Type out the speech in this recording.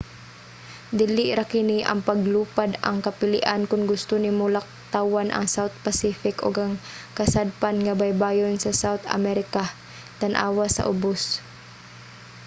dili ra kini ang paglupad ang kapilian kon gusto nimo laktawan ang south pacific ug ang kasadpan nga baybayon sa south america. tan-awa sa ubos